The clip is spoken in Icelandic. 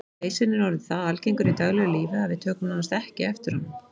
Leysirinn er orðinn það algengur í daglegu lífi að við tökum nánast ekki eftir honum.